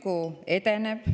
Ka Süku edeneb.